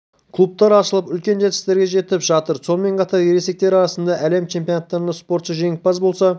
клубтар ашылып үлкен жетістіктерге жетіп жатыр сонымен қатар ересектер арасында әлем чемпионаттарында спортшы жеңімпаз болса